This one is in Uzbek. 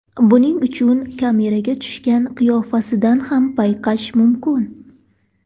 Buni uning kameraga tushgan qiyofasidan ham payqash mumkin.